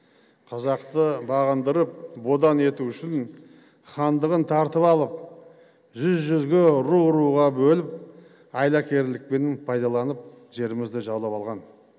қазақты бағындырып бодан ету үшін хандығын тартып алып жүз жүзге ру руға бөліп айлакерлікпен пайдаланып жерімізді жаулап алған